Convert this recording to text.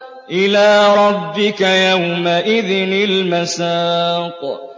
إِلَىٰ رَبِّكَ يَوْمَئِذٍ الْمَسَاقُ